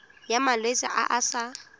ya malwetse a a sa